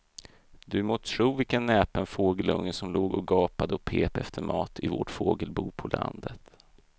Du må tro vilken näpen fågelunge som låg och gapade och pep efter mat i vårt fågelbo på landet.